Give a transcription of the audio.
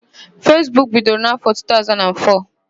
Fesbuk bidoro n'áfọ̀ 2004.